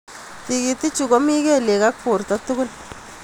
Tikitik chut komi kelyek ak borto tugul.